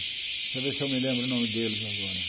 Deixa eu ver se eu me lembro o nome deles agora.